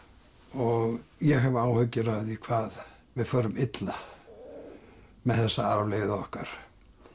og ég hef áhyggjur af því hvað við förum illa með þessa arfleifð okkar